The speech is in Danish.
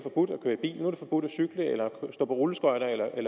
forbudt at cykle stå på rulleskøjter